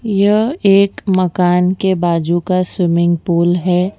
यह एक मकान के बाजू का स्विमिंग पूल है।